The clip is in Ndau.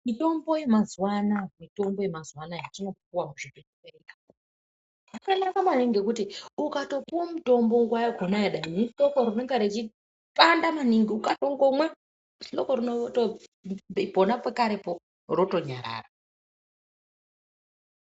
Mitombo yemazuva anaya yetinopiwa kuzvibhedhlera yakanaka maningi ngekuti ukatopuwa mutombo nguwa yakhona, dani ihloko rinenge richipanda maningi, ukatongomwa hloko pona pekarepo rotonyarara.